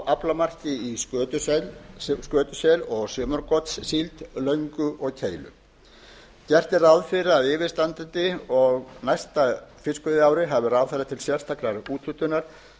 aflamarki í skötusel og sumargotssíld löngu og keilu gert er ráð fyrir að á yfirstandandi og næsta fiskveiðiári hafi ráðherra til sérstakrar úthlutunar